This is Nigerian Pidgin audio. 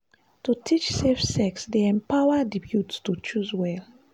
to teach safe sex dey empower di youth to choose well.